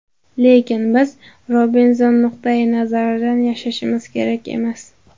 Lekin biz Robinzon nuqtai nazaridan yashashimiz kerak emas.